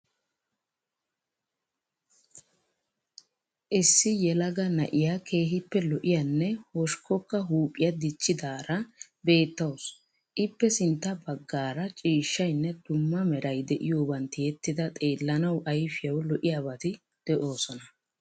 Issi yelaga na'iya keehippe lo'iyanne hoshikkokka huuphiya dichchidaara beettawuus. Ippe sintta baggaara ciishshayinne dumma meray de'iyoban tiyettida xeellanawu ayfiyawu lo'iyabati de'oosona.